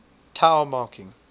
tao marking